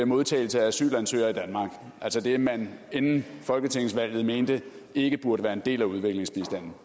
modtagelse af asylansøgere i danmark altså det man inden folketingsvalget mente ikke burde være en del af udviklingsbistanden